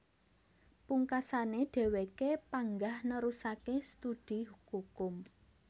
Pungkasané dhèwèké panggah nerusaké studi kukum